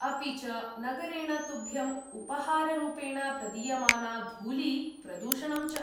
अपि च, नगरेण तुभ्यम्‌ उपहाररूपेण प्रदीयमाना धूली, प्रदूषणं च।